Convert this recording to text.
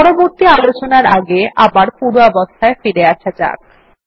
পরবর্তী আলোচনার আগে আবার পূর্বাবস্থায় ফিরে আসা যাক